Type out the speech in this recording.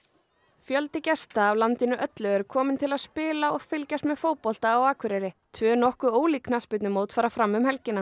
fjöldi gesta af landinu öllu er kominn til að spila og fylgjast með fótbolta á Akureyri tvö nokkuð ólík knattspyrnumót fara fram um helgina